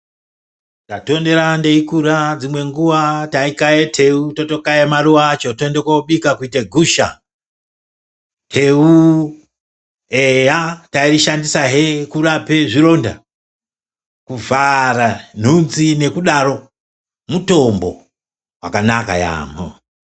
Ndatondera ndeikura dzimwe nguwa taikaye tewu totokaye maruva acho toende kobika kuite gusha, tewu eyaa tairishandisa hee kurape zvironda, kuvhara nhunzi nekudaro, mutombo wakanaka yaemho.